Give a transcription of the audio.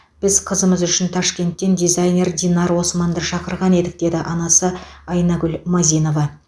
біз қызымыз үшін ташкенттен дизайнер динар османды шақырған едік деді анасы айнагүл мазинова